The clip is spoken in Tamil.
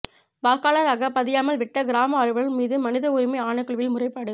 வாக்காளராகப் பதியாமல் விட்ட கிராம அலுவலர் மீது மனித உரிமை ஆணைக்குழுவில் முறைப்பாடு